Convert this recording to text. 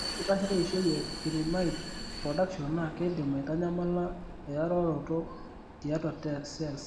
Ore enkitashoto eishioi e pyrimide production naa keidim aitanyamala eyayoroto tiatua cells.